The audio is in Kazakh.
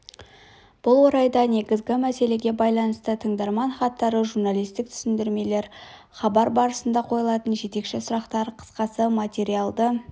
бұл орайда негізгі мәселеге байланысты тыңдарман хаттары журналистік түсіндірмелер хабар барысында қойылатын жетекші сұрақтар қысқасы материалды